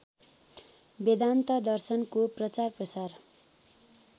वेदान्त दर्शनको प्रचारप्रसार